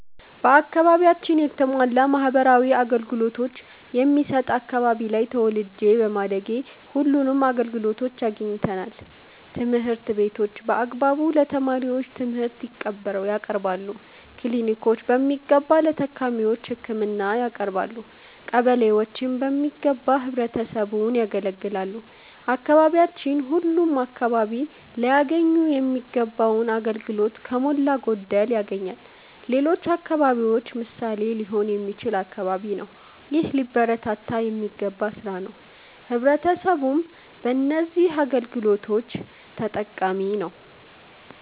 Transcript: በአከባቢያችን የተሟላ ማህበራዊ አገልገሎቶች የሚሠጥ አከባቢ ላይ ተወልጄ በማደጌ ሁለንም አገልግሎቶች አግኝተናል። ትምህርት ቤቶች በአግባቡ ለተማሪዎቹ ትምርህት ያቀርባሉ። ክሊኒኮች በሚገባ ለታካሚዎች ህክምና ያቀረባሉ። ቀበሌዎችም በሚገባ ህብረተሰቡን ያገለግላሉ። አካባቢያችን ሁለም አከባቢ ላያገኙ ሚገባውን አገልግሎቶች ከሞላ ጎደል ያገኛል። ለሌሎች አከባቢዎች ምሣሌ ሊሆን የሚችል አከባቢ ነው። ይህ ሊበረታታ የሚገባ ስራ ነው። ህብረተሰቡም በነዚህ አገልግሎቶች ተጠቃሚ ነዉ።